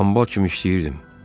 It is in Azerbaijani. Hambal kimi işləyirdim.